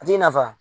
A t'i nafa